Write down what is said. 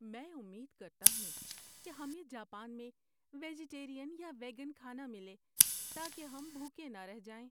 میں امید کرتا ہوں کہ ہمیں جاپان میں ویجٹیرین یا ویگن کھانہ ملے تاکہ ہم بھوکے نہ رہ جائیں۔